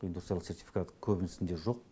индустриалды сертификаты көбісінде жоқ